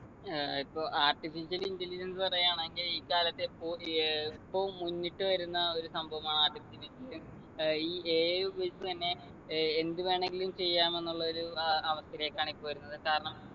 ഏർ ഇപ്പൊ artificial intelligence പറയാണെങ്കി ഇക്കാലത്തെ എപ്പൊ ഏർ ഇപ്പും മുന്നിട്ടു വരുന്ന ഒരു സംഭവമാണ് artificial intelligence ഏർ ഈ AI ഉപയോഗിച്ച് തന്നെ ഏർ എന്ത് വേണെങ്കിലും ചെയ്യാമെന്നുള്ളൊരു ആഹ് അവസ്ഥയിലേക്കാണ് ഇപ്പൊ വരുന്നത് കാരണം